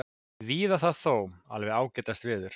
Víða það þó alveg ágætasta veður